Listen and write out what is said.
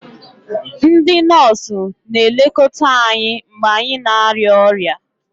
Ndị nọọsụ na-elekọta anyị mgbe anyị na-arịa ọrịa